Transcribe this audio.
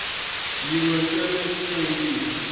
yin we ntsena ku kombisa